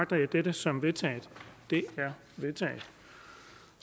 som der